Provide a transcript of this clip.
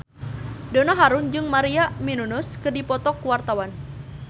Donna Harun jeung Maria Menounos keur dipoto ku wartawan